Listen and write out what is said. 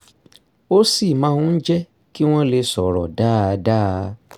ó sì máa ń jẹ́ kí wọ́n lè sọ̀rọ̀ dáadáa